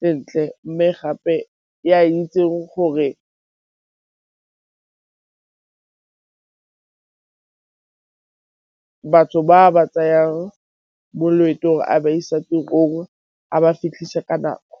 sentle, mme gape e a itseng gore re batho ba ba tsayang mo loeto gore a ba isa tirong a ba fitlhisa ka nako.